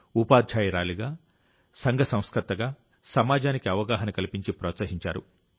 ఉపాధ్యాయురాలిగా సంఘ సంస్కర్తగా సమాజానికి అవగాహన కల్పించి ప్రోత్సహించారు